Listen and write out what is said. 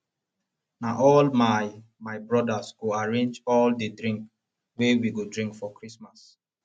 na all my my brodas go arrange all di drink wey we go drink for christmas